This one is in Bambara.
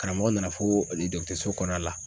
Karamɔgɔ nana foo oli dɔgɔtɔrɔso kɔnɔna la